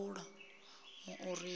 ha maureen we a ḓi